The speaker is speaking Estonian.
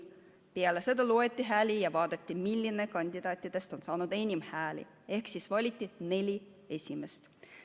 Peale seda loeti hääli ja vaadati, milline kandidaatidest on saanud enim hääli, ehk valiti neli esimest.